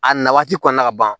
A na waati kɔnɔna ka ban